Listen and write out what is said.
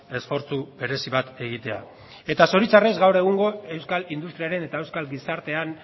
esfortzu berezi bat egitea eta zoritxarrez gaur egungo euskal industriaren eta euskal gizartean